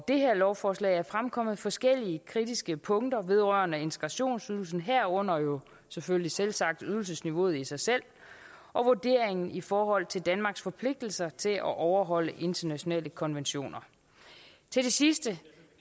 det her lovforslag er fremkommet forskellige kritiske punkter vedrørende integrationsydelsen herunder jo selvfølgelig selvsagt ydelsesniveauet i sig selv og vurderingen i forhold til danmarks forpligtelser til at overholde internationale konventioner til det sidste